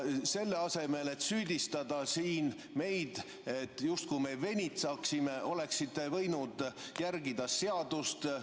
Selle asemel, et süüdistada siin meid, justkui meie venitaksime, oleksite võinud järgida seadust.